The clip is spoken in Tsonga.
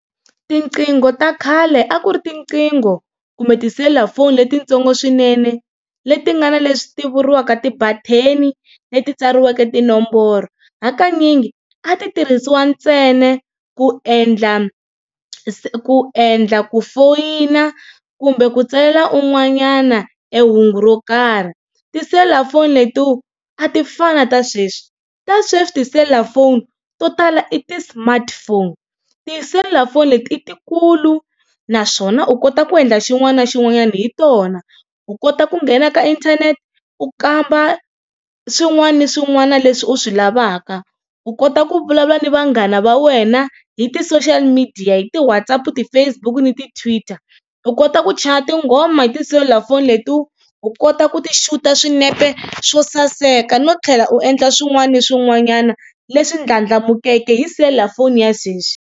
Tiqingho ta khale a ku ri tiqingho kumbe tiselulafoni letitsongo swinene, leti nga na leswi ti vuriwaka ti-button-i leti tsariweke tinomboro. Hakanyingi a ti tirhisiwa ntsena ku endla ku endla ku foyina kumbe ku tsalela un'wanyana e hungu ro karhi. Tiselulafoni letiwa a ti fani na ta sweswi. Ta sweswi tiselulafoni to tala i ti-smartphone. Tiselulafoni leti i ti kulu naswona u kota ku endla xin'wana na xin'wanyana hi tona. U kota ku nghena ka internet u kamba swin'wana ni swin'wana leswi u swi lavaka. U kota ku vulavula ni vanghana va wena hi ti-social media hi ti-WhatsApp, ti-Facebook ni ti-Twitter, u kota ku chaya tinghoma hi tiselulafoni leti, u kota ku ti xuta swinepe swo saseka no tlhela u endla swin'wana na swin'wanyana leswi ndlandlamukeke hi selulafoni ya sweswi.